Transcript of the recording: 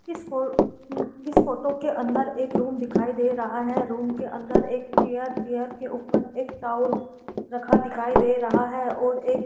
इस फो इस फोटो के अंदर एक रूम दिखाई दे रहा है रूम के अंदर एक चेयर चेयर के ऊपर एक टावल रखा दिखाई दे रहा है और एक --